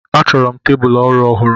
A chọrọ m tebụl ọrụ ọhụrụ.